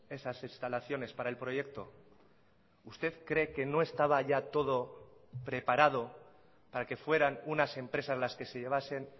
esas instalaciones para el proyecto usted cree que no estaba ya todo preparado para que fueran unas empresas las que se llevasen